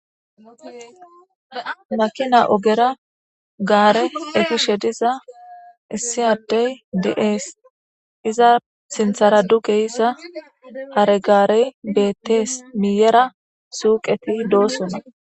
Makina ogera gaare efishe diza issi adde de'es, iza sinthara duge yida hare gaare bettees miyera suuqethi de'osona.